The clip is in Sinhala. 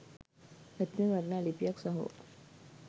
ඇත්තෙන්ම වටිනා ලිපියක් සහෝ